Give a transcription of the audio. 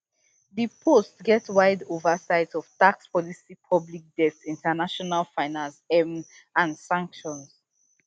di post get wide oversight of tax policy public debt international finance um and sanctions